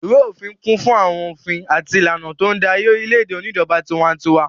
Ìwé-òfin kún fún àwọn òfin àti ìlànà tó ń darí orílẹ̀-èdè oníjọba tiwantiwa.